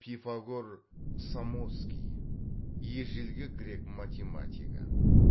пифагор самосский ежелгі грек математигі